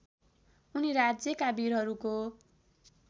उनी राज्यका वीरहरूको